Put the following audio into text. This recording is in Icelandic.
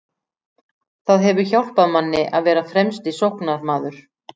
Það hefur hjálpað manni að vera fremsti sóknarmaður.